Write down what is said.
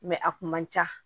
a kun man ca